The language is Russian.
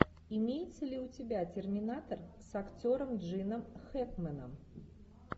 имеется ли у тебя терминатор с актером джином хэкменом